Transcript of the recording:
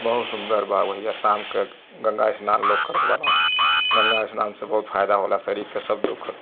बहुत सुंदर बा भईया शाम के गंगा स्नान लोग करत बान। गंगा स्नान से बहुत फायदा होला शरीर के सब दुख ख --